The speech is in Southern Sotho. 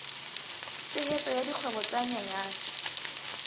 tshehetso ya dikgwebo tse nyenyane